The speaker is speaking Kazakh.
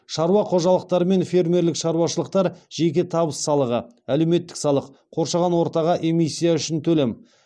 шаруа қожалықтары мен фермерлік шаруашылықтар жеке табыс салығы әлеуметтік салық қоршаған ортаға эмисстя үшін төлем